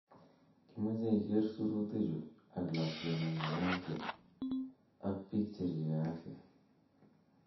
Kimoche iger suruti chu ak lakwengung en afya. Ak pok cheripe afya.